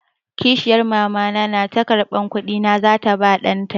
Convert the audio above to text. Kishiyar Mama na ta karɓi kuɗi na za ta ba ɗan ta.